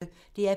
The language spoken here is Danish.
DR P1